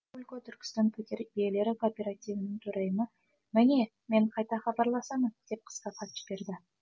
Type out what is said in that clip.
каракулько түркістан пәтер иелері кооперативінің төрайымы міне мен қайта хабарласамын деп қысқа хат жіберді